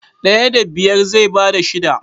Daya da biyar zai bada shida.